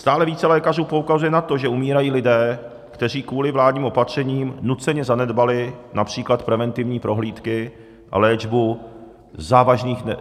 Stále více lékařů poukazuje na to, že umírají lidé, kteří kvůli vládním opatřením nuceně zanedbali například preventivní prohlídky a léčbu závažných chorob.